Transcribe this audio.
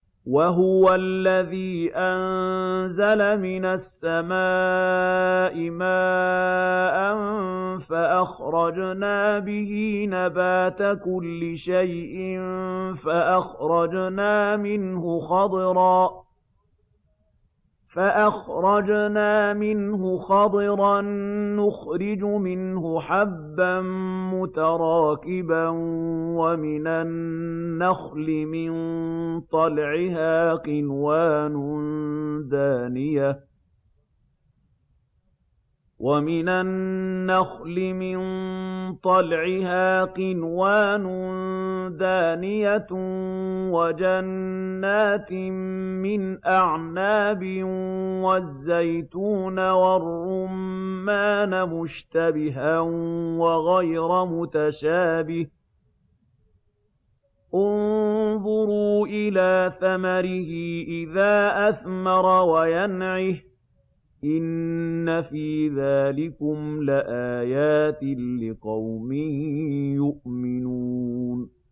وَهُوَ الَّذِي أَنزَلَ مِنَ السَّمَاءِ مَاءً فَأَخْرَجْنَا بِهِ نَبَاتَ كُلِّ شَيْءٍ فَأَخْرَجْنَا مِنْهُ خَضِرًا نُّخْرِجُ مِنْهُ حَبًّا مُّتَرَاكِبًا وَمِنَ النَّخْلِ مِن طَلْعِهَا قِنْوَانٌ دَانِيَةٌ وَجَنَّاتٍ مِّنْ أَعْنَابٍ وَالزَّيْتُونَ وَالرُّمَّانَ مُشْتَبِهًا وَغَيْرَ مُتَشَابِهٍ ۗ انظُرُوا إِلَىٰ ثَمَرِهِ إِذَا أَثْمَرَ وَيَنْعِهِ ۚ إِنَّ فِي ذَٰلِكُمْ لَآيَاتٍ لِّقَوْمٍ يُؤْمِنُونَ